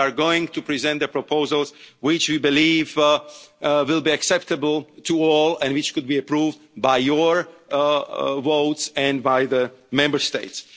in this debate. We are going to present proposals which we believe will be acceptable to all and which could be approved by your votes and by the